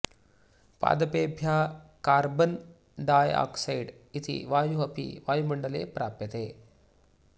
पादपेभ्यः carbon dioxide इति वायुः अपि वायुमण्डले प्राप्यते